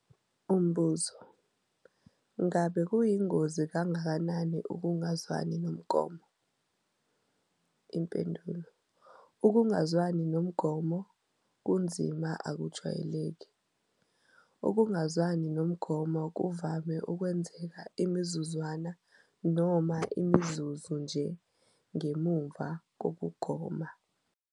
Umbuzo- Ngakube kuyingozi kangakanani ukungazwani nomgomo? Impendulo- Ukungazwani nomgomo okunzima akujwayelekile. Ukungazwani nomgomo kuvame ukwenzeka imizuzwana noma imizuzu nje ngemuva kokugoma.